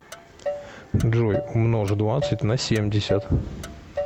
джой умножь двадцать на семьдесят